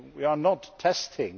we are not testing